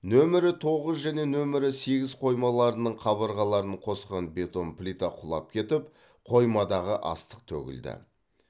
нөмірі тоғыз және нөмірі сегіз қоймаларының қабырғаларын қосқан бетон плита құлап кетіп қоймадағы астық төгілді